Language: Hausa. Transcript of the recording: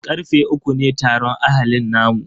Karfe uku ne taron ahalin namu.